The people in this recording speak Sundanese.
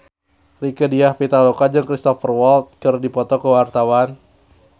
Rieke Diah Pitaloka jeung Cristhoper Waltz keur dipoto ku wartawan